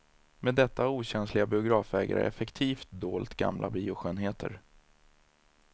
Med detta har okänsliga biografägare effektivt dolt gamla bioskönheter.